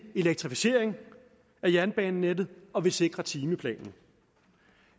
elektrificeringen af jernbanenettet og vi sikrer timeplanen